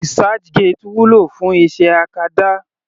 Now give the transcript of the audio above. Researchgate wúlò fún iṣẹ́ acadá.